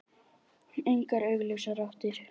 Engar augljósar áttir.